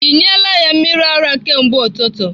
Ị nyela ya mmiri ara kemgbe ụtụtụ?